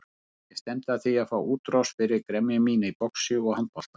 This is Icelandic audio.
Ég stefni að því að fá útrás fyrir gremju mína í boxi og handbolta.